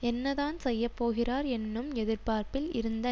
என்னதான் செய்யப்போகிறார் என்னும் எதிர்பார்ப்பில் இருந்த